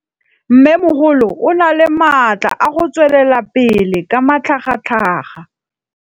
Mmêmogolo o na le matla a go tswelela pele ka matlhagatlhaga.